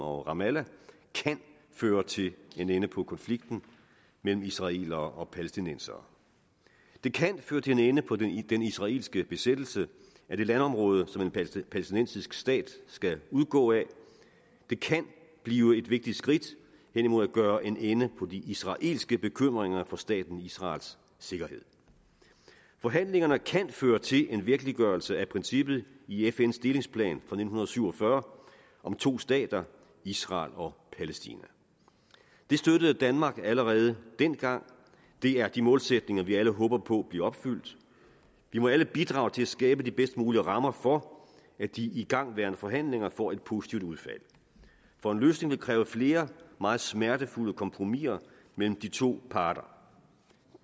og ramallah kan føre til en ende på konflikten mellem israelere og palæstinensere det kan føre til en ende på den israelske besættelse af det landområde som en palæstinensisk stat skal udgå af det kan blive et vigtigt skridt hen imod at gøre en ende på de israelske bekymringer for staten israels sikkerhed forhandlinger kan føre til en virkeliggørelse af princippet i fns delingsplan fra nitten syv og fyrre om to stater israel og palæstina det støttede danmark allerede dengang det er de målsætninger vi alle håber på bliver opfyldt vi må alle bidrage til at skabe de bedst mulige rammer for at de igangværende forhandlinger får et positivt udfald for en løsning vil kræve flere og meget smertefulde kompromiser mellem de to parter